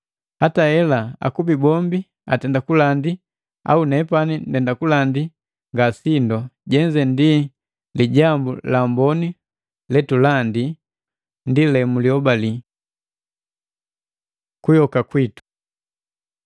Hata hela akubi bombi atenda kubalandi au nepani ndenda kulandi, nga sindo, jenze ndi Lijambu la Amboni letulandi ndi le mulihobali. Kuyoka kwitu